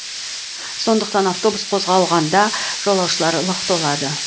сондықтан автобус қозғалғанда жолаушыларлық толады